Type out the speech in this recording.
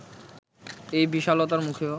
এই বিশালতার মুখেও